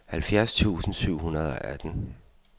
halvfjerds tusind syv hundrede og atten